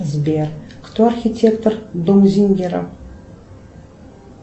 сбер кто архитектор дом зингера